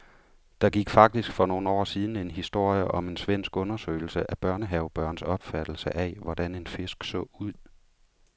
Der gik faktisk for nogle år siden en historie om en svensk undersøgelse af børnehavebørns opfattelse af, hvordan en fisk så ud.